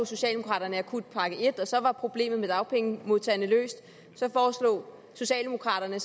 socialdemokraterne akutpakke en for så var problemet med dagpengemodtagerne løst så foreslog socialdemokraterne